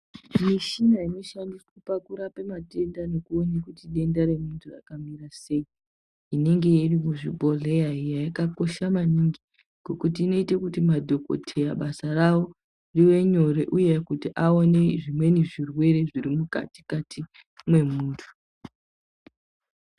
Mishina inoshandiswa pakurape matenda nekuone kuti denda remuntu rakamira sei inonge iri kuzvibhedhlera iyani yakakosha maningi ngokuti inoite kuti madhokodheya basa rawo riwe nyore uye kuti vaone zvimweni zvirwere zviri mukatikati mwemunhu.